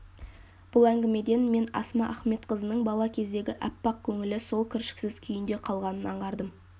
бұл әңгімеден мен асма ахметқызының бала кездегі аппақ көңілі сол кіршіксіз күйінде қалғанын аңғардым